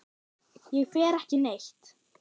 Ég fer ekki neitt.